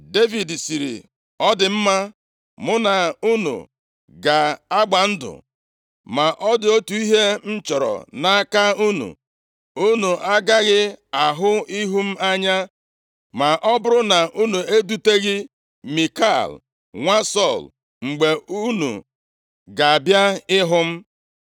Devid sịrị, “Ọ dị mma. Mụ na unu ga-agba ndụ. Ma ọ dị otu ihe m chọrọ nʼaka unu. Unu agaghị ahụ ihu m anya ma ọ bụrụ na unu eduteghị Mikal, nwa Sọl, mgbe unu ga-abịa ịhụ m.”